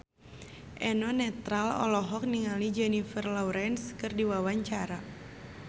Eno Netral olohok ningali Jennifer Lawrence keur diwawancara